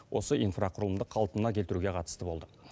осы инфрақұрылымды қалпына келтіруге қатысты болды